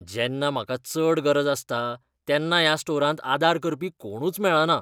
जेन्ना म्हाका चड गरज आसता तेन्ना ह्या स्टोरांत आदार करपी कोणूच मेळना.